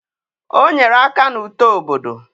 O nyere aka na uto obodo.